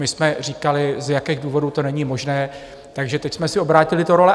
My jsme říkali, z jakých důvodů to není možné, takže teď jsme si obrátili ty role.